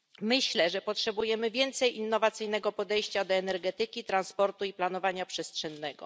Myślę, że potrzebujemy więcej innowacyjnego podejścia do energetyki, transportu i planowania przestrzennego.